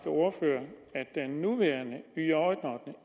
ordfører at den nuværende